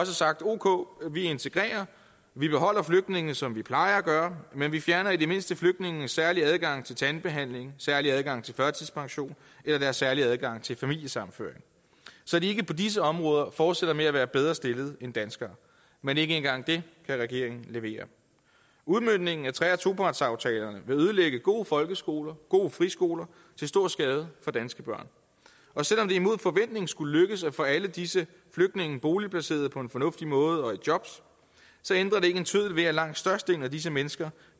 sagt ok vi integrerer vi beholder flygtningene som vi plejer at gøre men vi fjerner i det mindste flygtningenes særlige adgang til tandbehandling særlige adgang til førtidspension eller deres særlige adgang til familiesammenføring så de ikke på disse områder fortsætter med at være bedre stillede end danskere men ikke engang det kan regeringen levere udmøntningen af tre og topartsaftalerne vil ødelægge gode folkeskoler og gode friskoler til stor skade for danske børn selv om det imod forventning skulle lykkes at få alle disse flygtninge boligplaceret på en fornuftig måde og i jobs ændrer det ikke en tøddel ved at langt størstedelen af disse mennesker